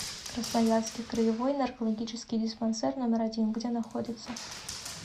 красноярский краевой наркологический диспансер номер один где находится